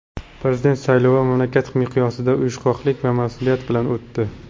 Prezident saylovi mamlakat miqyosida uyushqoqlik va mas’uliyat bilan o‘tdi.